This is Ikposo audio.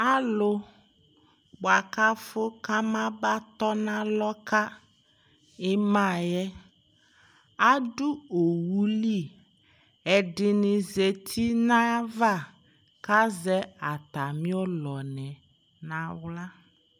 Alʋ, bʋa kʋ afʋ kamaba tɔ nʋ alɔ ka ɩma yɛ, adʋ owu li, ɛdɩnɩ zati nʋ ayʋ ava kʋ azɛ atamɩ ɔnɔnɩ nʋ aɣla